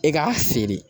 E k'a feere